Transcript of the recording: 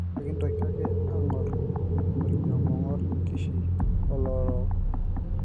Kekintoki ake ang'or orkiama ong'or enkishui oo lorook